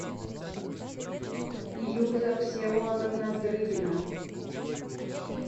илюза всеволодовна дрыгина